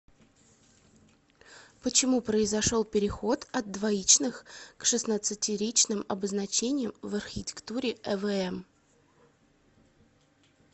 почему произошел переход от двоичных к шестнадцатеричным обозначениям в архитектуре эвм